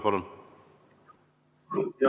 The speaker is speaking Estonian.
Palun!